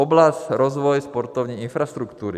Oblast rozvoje sportovní infrastruktury.